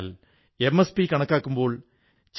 വിദ്യാലയങ്ങൾ ഓൺലൈൻ ക്ലാസുകൾ ആരംഭിച്ച സ്ഥിതിയിൽ